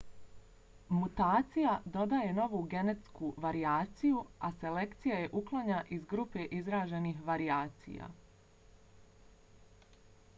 mutacija dodaje novu genetsku varijaciju a selekcija je uklanja iz grupe izraženih varijacija